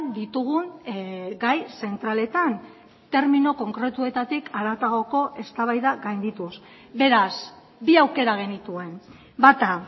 ditugun gai zentraletan termino konkretuetatik haratagoko eztabaida gaindituz beraz bi aukera genituen bata